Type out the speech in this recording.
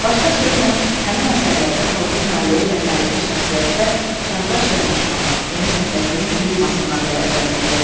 Başqa sözlə, həmin əsərlərdə xalqın taleyi və tarixi şəxsiyyətlər çağdaş yanaşmanın, yeni təfəkkürün prizmasından dəyərləndirilirdi.